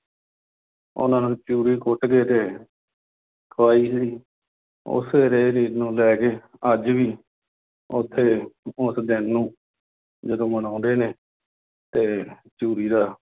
ਉਨ੍ਹਾਂ ਨੂੰ ਚੂਰੀ ਕੁੱਟ ਕੇ ਤੇ ਖਵਾਈ ਸੀ। ਉਸੇ ਰਹੁ-ਰੀਤ ਨੂੰ ਲੈ ਕੇ ਅੱਜ ਵੀ ਉਥੇ, ਉਸ ਦਿਨ ਨੂੰ ਜਦੋਂ ਮਨਾਉਂਦੇ ਨੇ ਤੇ ਚੂਰੀ ਦਾ।